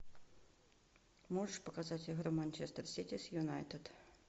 можешь показать игру манчестер сити с юнайтед